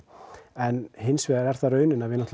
en hins vegar er það raunin að við